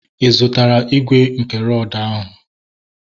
Ị zụtara igwe nke rọdu ahụ?